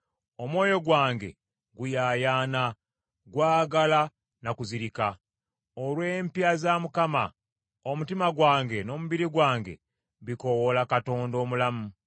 Omwoyo gwange guyaayaana, gwagala na kuzirika, olw’empya za Mukama , omutima gwange n’omubiri gwange bikoowoola Katonda omulamu.